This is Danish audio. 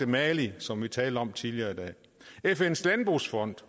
mali som vi talte om tidligere i dag fns landbrugsfond